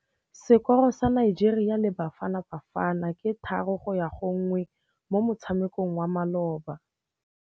Sekôrô sa Nigeria le Bafanabafana ke 3-1 mo motshamekong wa malôba.